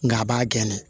Nga a b'a gɛn